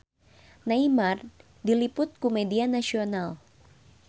Neymar diliput ku media nasional